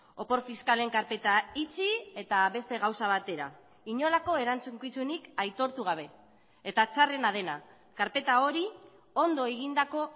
opor fiskalen karpeta itxi eta beste gauza batera inolako erantzukizunik aitortu gabe eta txarrena dena karpeta hori ondo egindako